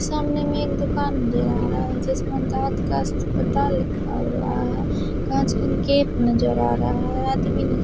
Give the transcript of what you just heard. सामने मैं एक दुकान नजर आ रहा है जिसमें दाँत का अस्पताल लिखा हुआ है काँच का गेट नजर आ रहा है आदमी न--